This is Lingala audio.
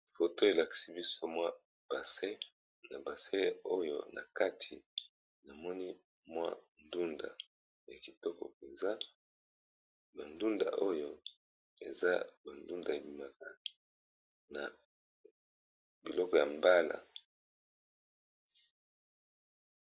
Foto elakisi biso mwa bassin, na bassin oyo na kati namoni mwa ndunda ya kitoko mpenza ba ndunda oyo eza ba ndunda ebimaka na biloko ya mbala.